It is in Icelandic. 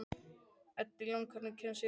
Edilon, hvernig kemst ég þangað?